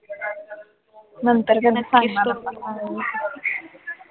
नंतर कधी सांगणार आता काय